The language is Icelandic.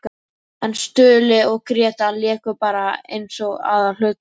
En Stulli og Gréta léku bara eins og aðalhlutverk!